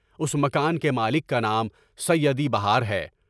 اس مکان کے مالک کا نام سعیدی بہار ہے۔